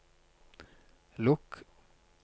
lukk